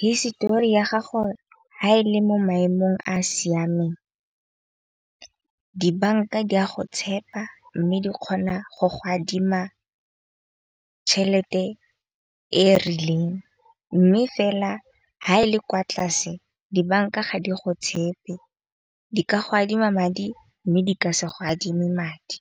Histori ya gago ha e le mo maemong a siameng dibanka di a go tshepa. Mme di kgona go go adima tšhelete e rileng. Mme fela ha e le kwa tlase dibanka ga di go tshepe. Di ka go adima madi mme di ka se go adime madi.